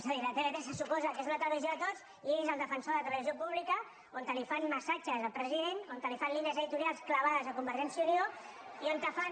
és a dir la tv3 se su·posa que és una televisió de tots i ell és el defensor de la televisió pública on fan massatges al president on fan línies editorials clavades a convergència i unió i on fan